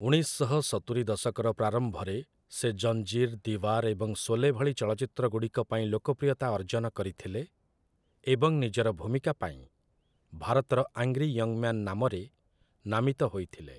ଉଣେଇଶ ଶହ ସତୁରି ଦଶକର ପ୍ରାରମ୍ଭରେ, ସେ 'ଜଞ୍ଜୀର୍', 'ଦୀୱାର୍' ଏବଂ 'ଶୋଲେ' ଭଳି ଚଳଚ୍ଚିତ୍ରଗୁଡ଼ିକ ପାଇଁ ଲୋକପ୍ରିୟତା ଅର୍ଜନ କରିଥିଲେ ଏବଂ ନିଜର ଭୂମିକା ପାଇଁ 'ଭାରତର ଆଙ୍ଗ୍ରି ୟଙ୍ଗ୍ ମ୍ୟାନ୍' ନାମରେ ନାମିତ ହୋଇଥିଲେ ।